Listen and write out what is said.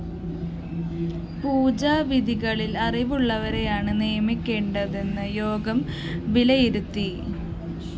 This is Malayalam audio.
പൂജാവിധികളില്‍ അറിവുള്ളവരെയാണ് നിയമിക്കേണ്ടതെന്ന് യോഗം വിലയിരുത്തി